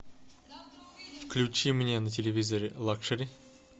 включи мне на телевизоре лакшери